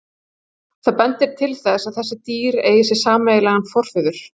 Það bendir til þess að þessi dýr eigi sér sameiginlegan forföður.